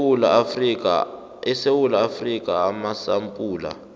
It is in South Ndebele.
esewula afrika amasampula